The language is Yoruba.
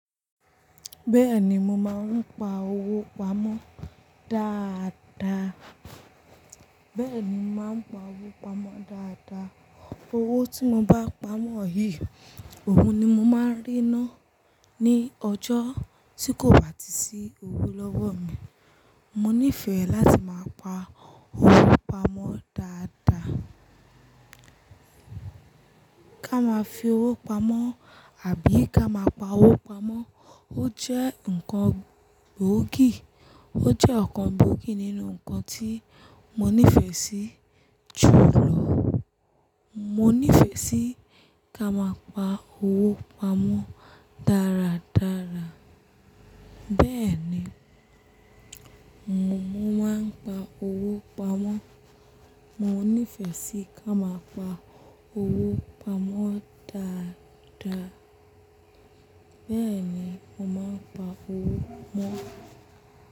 Bẹ́ẹ̀ni mo máa ń pa owó pamọ́ dáadáa. Bẹ́ẹ̀ni mo máa ń pa owó pamọ́ dáadáa. Owó tí mo bá pamọ́ yìí, òun ni mo máa ń ríná ní ọjọ́ tí kò bá ti sí owó lọ́wọ́ mi. Mo nífẹ̀ẹ́ láti máa pa owó pamọ́ dáadáa. Ká máa fi owó pamọ́ àbí ká máa pa owó pamọ́, ó jẹ́ nǹkan gbóògì. Ó jẹ́ ọ̀kan gbóògì nínú nǹkan tí mo nífẹ̀ẹ́ sí jù lọ. Mo nífẹ̀ẹ́ sí ká máa pa owó pamọ́ dáradára. Bẹ́ẹ̀ni, mo máa ń pa owó pamọ́. Mo nífẹ̀ẹ́ sí ká máa pa owó pamọ́ dáadáa. Bẹ́ẹ̀ni, mo máa ń pa owó mó.